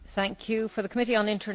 Frau Präsidentin!